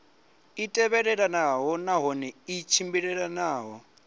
i tevhelelanaho nahone i tshimbilelanaho